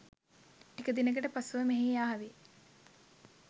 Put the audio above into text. ටික දිනකට පසුයි මෙහි ආවේ